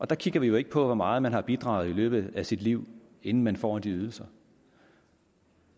der kigger vi jo ikke på hvor meget man har bidraget i løbet af sit liv inden man får de ydelser